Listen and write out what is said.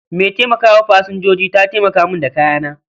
Mai taimaka wa Pasanjoji ta taimaka mun da kayana